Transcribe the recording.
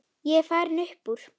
Ég er farinn upp úr.